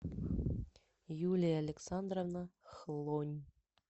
юлия александровна хлонь